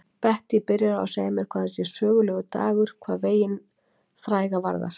Bettý byrjar á að segja mér að þetta sé sögulegur dagur hvað veginn fræga varðar.